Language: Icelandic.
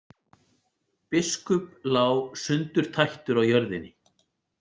Biskup lá sundurtættur á jörðinni.